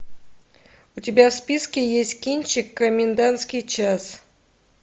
у тебя в списке есть кинчик комендантский час